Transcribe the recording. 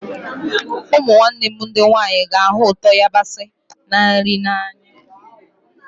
Ụmụnne m ndị nwanyị ga-ahụ ụtọ yabasị na nri n'anya